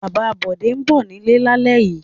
Bàbá Bọ̀dé ń bọ̀ nílé lálẹ́ yìí.